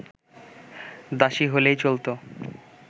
দাসী হলেই চলতো